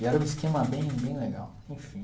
E era um esquema bem bem legal, enfim.